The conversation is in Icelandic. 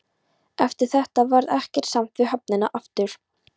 Eftir þetta varð ekkert samt við höfnina aftur.